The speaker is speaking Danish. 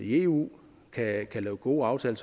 i eu kan lave gode aftaler